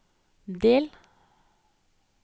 del